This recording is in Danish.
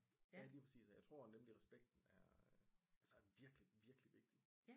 Ja lige præcis og jeg tror nemlig respekten er altså virkelig virkelig vigtig